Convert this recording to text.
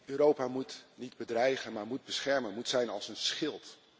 Europa moet niet bedreigen, maar moet beschermen, moet zijn als een schild.